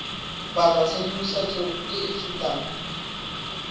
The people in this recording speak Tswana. batla tshedimosetso e e fetang